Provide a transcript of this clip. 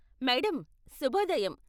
Madam, శుభోదయం.